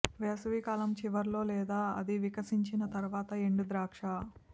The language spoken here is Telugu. వేసవికాలం చివరిలో లేదా అది వికసించిన తర్వాత ఎండు ద్రాక్ష